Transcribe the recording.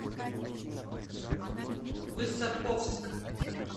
высоковск